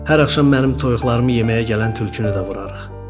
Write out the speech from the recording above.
Hər axşam mənim toyuqlarımı yeməyə gələn tülkünü də vurarıq.